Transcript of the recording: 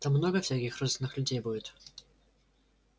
там много всяких разных людей будет